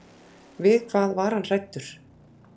Við hvað var hann hræddur?